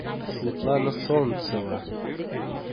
светлана солнцева